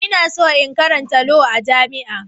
Ina so in karanta Law a jami'a.